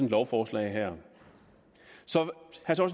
lovforslag her